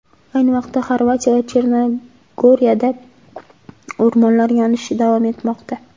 Ayni vaqtda Xorvatiya va Chernogoriyada o‘rmonlar yonishi davom etmoqda.